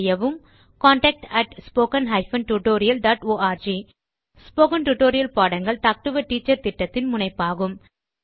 contact spoken hyphen tutorial dot org spoken tutorial பாடங்கள் talk to a teacher திட்டத்தின் முனைப்பாகும்